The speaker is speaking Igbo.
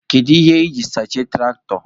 Gịnị ka iji sachie tụraktọ?